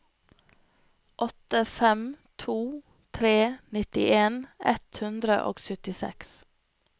åtte fem to tre nittien ett hundre og syttiseks